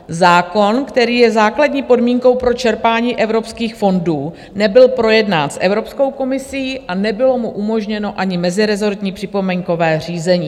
Zákon, který je základní podmínkou pro čerpání evropských fondů, nebyl projednán s Evropskou komisí a nebylo mu umožněno ani mezirezortní připomínkové řízení.